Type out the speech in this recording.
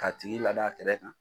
K'a tigi lada a kɛrɛ kan